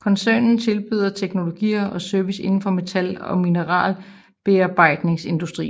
Koncernen tilbyder teknologier og services indenfor metal og mineralbearbejdningsindustrien